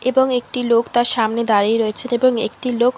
এবং একটি লোক তার সামনে দাঁড়িয়ে রয়েছে এবং একটি লোক --